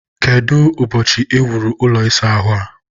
kedu ụbọchị e wuru ụlọ ịsa ahụ a?